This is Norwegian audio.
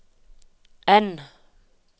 N